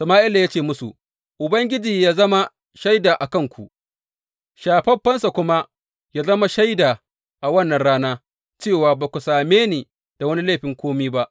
Sama’ila ya ce musu, Ubangiji yă zama shaida a kanku, shafaffensa kuma yă zama shaida a wannan rana cewa ba ku same ni da wani laifin kome ba.